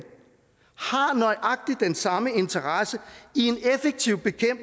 har nøjagtig den samme interesse i